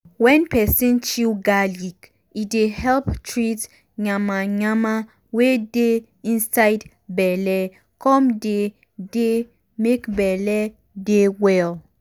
wen peson chew garlic e dey help treat yanmayanma wey dey inside belle come dey dey make belle dey well.